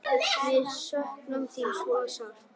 Við söknum þín svo sárt.